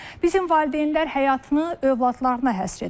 Bizim valideynlər həyatını övladlarına həsr edir.